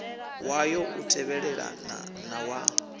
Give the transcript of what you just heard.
wayo u tevhelelana na wa